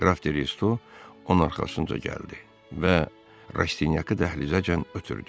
Qraf Redo onun arxasınca gəldi və Rastinyakı dəhlizəcən ötdü.